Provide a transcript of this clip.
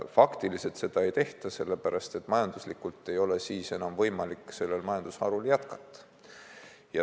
Faktiliselt seda ei tehta, sellepärast et majanduslikult ei ole siis enam võimalik sellel majandusharul jätkata.